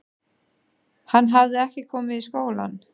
Hann hafði ekki komið í skólann.